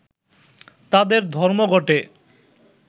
তাদের ধর্মঘটে